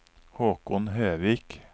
Håkon Høvik